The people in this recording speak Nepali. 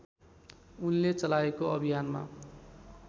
उनले चलाएको अभियानमा